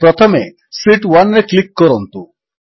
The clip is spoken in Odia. ପ୍ରଥମେ ଶୀତ୍ 1ରେ କ୍ଲିକ୍ କରନ୍ତୁ